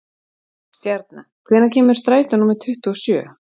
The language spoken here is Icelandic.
Stjarna, hvenær kemur strætó númer tuttugu og sjö?